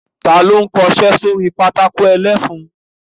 Ta ló ń kọṣẹ́ sórí pátákó ẹlẹ́fun?